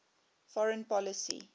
foreign policy